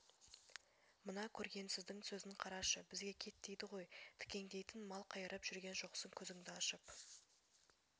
мына көргенсіздің сөзін қарашы бізге кет дейді ғой дікеңдейтіндей мал қайырып жүрген жоқсың көзіңді ашып